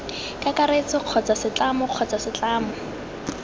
kakaretso kgotsa setlamo kgotsa setlamo